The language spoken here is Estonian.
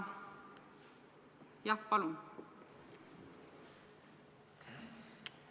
Jah, palun!